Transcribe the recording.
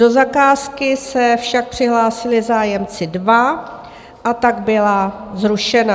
Do zakázky se však přihlásili zájemci dva, a tak byla zrušena.